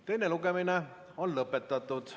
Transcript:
Teine lugemine on lõpetatud.